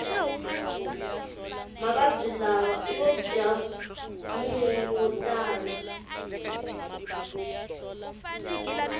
mavabwi lawa iyojamunyu wotala